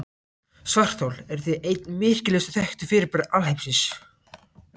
Svarthol eru því ein merkilegustu þekktu fyrirbæri alheimsins.